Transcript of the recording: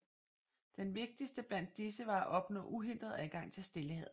Den vigtigste blandt disse var at opnå uhindret adgang til Stillehavet